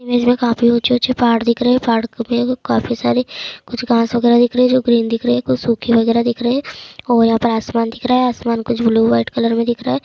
Image में काफी ऊँचे-ऊँचे पहाड़ दिख रहे है पहाड़ के पे काफी सारे कुछ घास वगैरह दिख रही है जो ग्रीन दिख रही है। कुछ सुखी वगैरह दिख रही है और यहाँ आसमान दिख रहा है। आसमान कुछ ब्लू वाइट कलर में दिख रहा है।